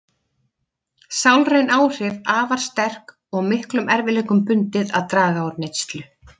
Sálræn áhrif afar sterk og miklum erfiðleikum bundið að draga úr neyslu.